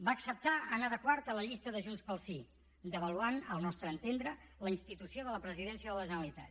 va acceptar anar de quart a la llista de junts pel sí devaluant al nostre entendre la institució de la presidència de la generalitat